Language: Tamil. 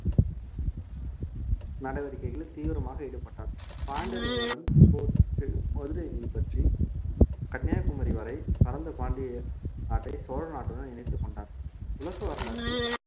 நடவடிக்கைகளில் தீவிரமாக ஈடுபட்டான் பாண்டியர்களுடன் போரிட்டு மதுரையை கைப்பற்றி கன்னியாகுமரி வரை பரந்த பாண்டிய நாட்டை சோழ நாட்டுடன் இணைத்துக் கொண்டான் உலக வரலாற்றில்